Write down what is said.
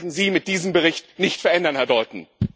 Das werden Sie mit diesem Bericht nicht verändern, Herr Dalton.